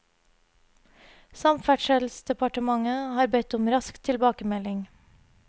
Samferdselsdepartementet har bedt om rask tilbakemelding.